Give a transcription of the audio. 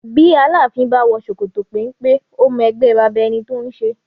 Bí Aláàfin bá wò ṣòkòtò penpe, ó mọ ẹgbẹ́ baba ẹni tó ń ṣe